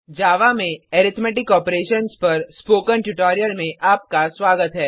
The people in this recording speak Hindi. जावा में अरिथमेटिक ऑपरेशन्स पर स्पोकन ट्यूटोरियल में आपका स्वागत है